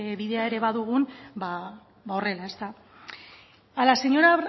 bidea ere badugun ba horrela ezta a la señora